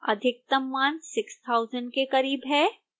अधिकतम मान 6000 के करीब है